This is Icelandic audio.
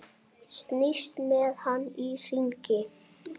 Snýst með hann í hringi.